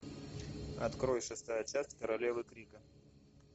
открой шестая часть королевы крика